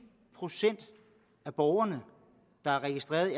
procent af borgerne der er registreret i